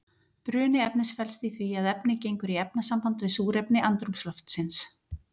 Bruni efnis felst í því að efnið gengur í efnasamband við súrefni andrúmsloftsins.